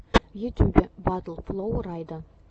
в ютюбе батл флоу райда